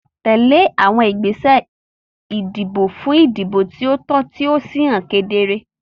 Tẹ̀lé àwọn ìgbésẹ̀ ìdìbò fún ìdìbò tí ó tọ́ tí ó sì hàn kedere.